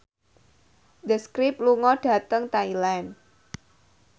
The Script lunga dhateng Thailand